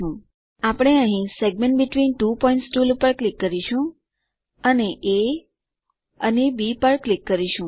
આપણે અહીં segments between two points tool પર ક્લિક કરીશું અને એ અને બી પર ક્લિક કરીશું